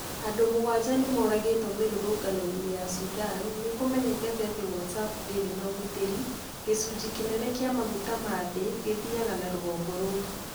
Andũ mũgwanja nĩ mooragĩtwo mĩrũrũngano-inĩ ya Sudan Nĩ kũmenyekete atĩ WhatsApp ndĩrĩ ũgitĩri Gĩcunjĩ kĩnene kĩa maguta ma thĩ gĩthiaga na rũgongo rũu.